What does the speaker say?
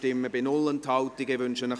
[Bichsel, Zollikofen] / Regierungsrat)